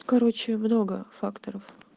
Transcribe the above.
короче много факторов